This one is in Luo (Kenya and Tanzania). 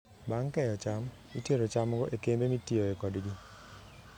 Bang' keyo cham, itero chamgo e kembe mitiyoe kodgi.